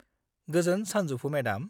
गोजोन सानजौफु, मेडाम!